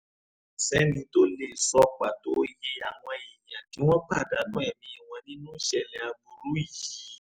kò sẹ́ni tó lè sọ pàtó iye àwọn èèyàn tí wọ́n pàdánù ẹ̀mí wọn nínú ìṣẹ̀lẹ̀ aburú yìí